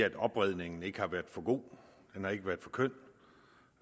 at opredningen ikke har været for god den har ikke været for køn